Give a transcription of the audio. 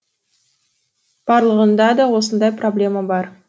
барлығында да осындай проблема бар